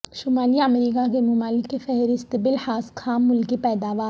شمالی امریکا کے ممالک کی فہرست بلحاظ خام ملکی پیداوار